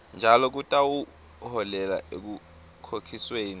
njalo kutawuholela ekukhokhisweni